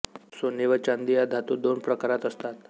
सोने व चांदि या धातू दोन प्रकारात असतात